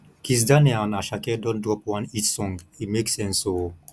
kizz daniel and asake don drop one hit song e make sense o